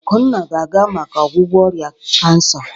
Akunna ga-aga maka ọgwụgwọ ọrịa kansa.